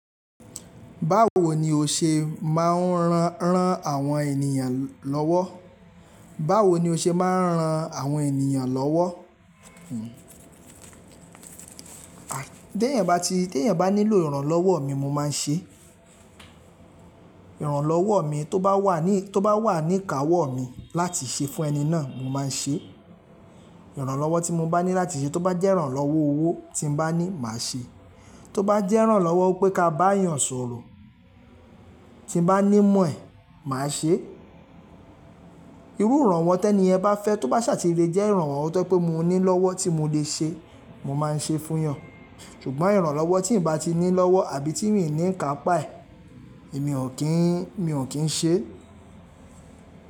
Báwo ni o ṣe máa ń ran àwọn ènìyàn lọ́wọ́? Báwo ni o ṣe máa ń ran àwọn ènìyàn lọ́wọ́? Téyàn bá ti, téyàn bá nílò ìrànlọ́wọ́ mi mo máa ń ṣe. Ìrànlọ́wọ́ mi tó bá wà ní, tó bá wà ní kàwọ́ mi láti ṣe fún ẹni náà mo máa ń ṣe. Ìrànlọ́wọ́ tí mo bá ní láti ṣe tó bá jẹ́ ìrànlọ́wọ́ owó tí n bá ní màá ṣe. Tó bá jẹ́ ìrànlọ́wọ́ pé ká bá èèyàn sọ̀rọ̀ tí n bá ní mọ̀ ẹ́ màá ṣe. Irú ìrànwọ́ tẹ́ní yẹn bá fẹ́ tó bá ṣà ti le jẹ́ ìrànwọ́ tó je pé mo ní lọ́wọ́ tí mo lè ṣe, mo máa ń ṣe fún yan. Ṣùgbọ́n ìrànlọ́wọ́ tí n bá ti ní lọ́wọ́ àbí tí mi i ní ká pà e, èmi ò kí n, mi ò kí ń ṣe.